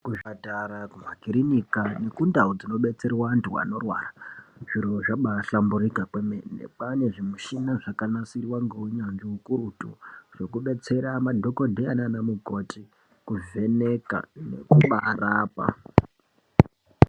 Ku zvipatara ku makirinika neku ndau dzino detserwa antu anorwara zviro zvabai hlamburika kwemene kwane zvi mushina zvaka nasirwa nge unyanzvi ukurutu zvoku detsera madhokodheya nana mukoti kuvheneka nekuba rapa.